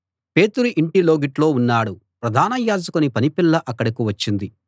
పేతురు ఇంటి లోగిట్లో ఉన్నాడు ప్రధాన యాజకుని పనిపిల్ల అక్కడకు వచ్చింది